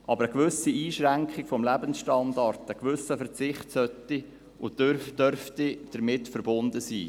Aber eine gewisse Einschränkung des Lebensstandards, ein gewisser Verzicht, sollte und dürfte jedoch damit verbunden sein.